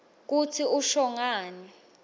kutsi usho ngani